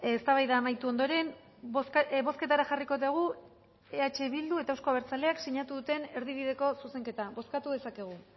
eztabaida amaitu ondoren bozketara jarriko dugu eh bildu eta euzko abertzaleak sinatu duten erdi bideko zuzenketa bozkatu dezakegu